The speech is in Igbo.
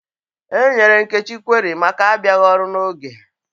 E nyere Nkechi kweri maka abịaghị ọrụ n'oge